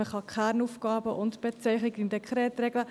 Man kann die Kernaufgaben und die Bezeichnung im Dekret regeln.